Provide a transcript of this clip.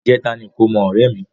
Ìjẹ́ta ní ìkómọ ọ̀rẹ́ mi.